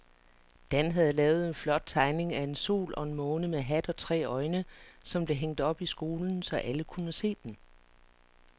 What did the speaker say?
Dan havde lavet en flot tegning af en sol og en måne med hat og tre øjne, som blev hængt op i skolen, så alle kunne se den.